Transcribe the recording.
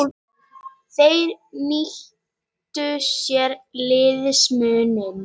Þeir nýttu sér liðsmuninn.